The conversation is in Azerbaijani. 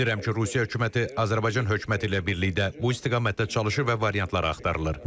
Bilirəm ki, Rusiya hökuməti Azərbaycan hökuməti ilə birlikdə bu istiqamətdə çalışır və variantlar araşdırılır.